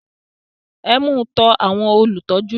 Ẹ mú u tọ àwọn olùtọ́jú lọ